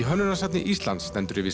hönnunarsafni Íslands stendur yfir